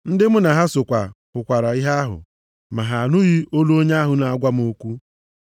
Ndị mụ na ha so hụkwara ìhè ahụ, ma ha anụghị olu onye ahụ na-agwa m okwu.